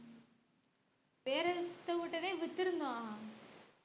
வித்திருந்தோம்